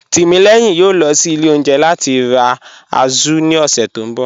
Timílẹyìn yòó lọ sí ilẹ̀ ọ̀unjẹ̀ lati ra wa Azu ni ọṣẹ̀ tó nbọ̀